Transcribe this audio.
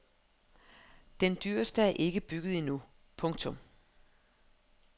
Den dyreste er ikke bygget endnu. punktum